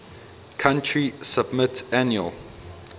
country submit annual